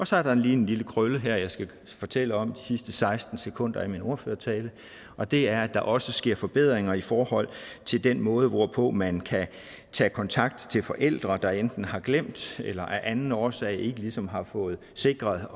så er der lige en lille krølle her jeg skal fortælle om de sidste seksten sekunder af min ordførertale og det er at der også sker forbedringer i forhold til den måde hvorpå man kan tage kontakt til forældre der enten har glemt eller af anden årsag ikke ligesom har fået sikret